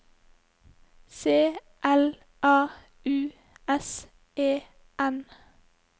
C L A U S E N